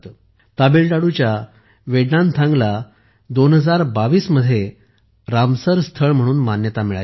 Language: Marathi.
तामिळनाडूच्या वेदथंगलला 2022 मध्ये रामसर स्थळ म्हणून मान्यता मिळाली आहे